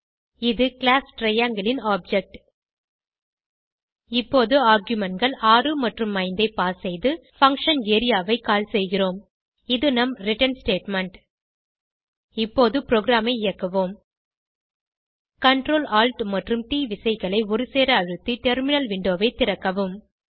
இது class triangle ன் object இங்கே argumentகள் 6 மற்றும் 5 ஐ பாஸ் செய்து பங்ஷன் ஏரியா ஐ கால் செய்கிறோம் இது நம் ரிட்டர்ன் ஸ்டேட்மெண்ட் இப்போது ப்ரோகிராமை இயக்குவோம் Ctrl Alt மற்றும் ட் விசைகளை ஒருசேர அழுத்தி டெர்மினல் விண்டோவை திறக்கவும்